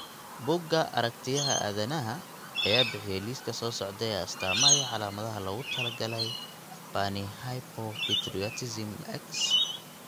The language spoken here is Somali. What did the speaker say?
Buugga Aragtiyaha aadanaha ayaa bixiya liiska soo socda ee astamaha iyo calaamadaha loogu talagalay Panhypopituitarism X.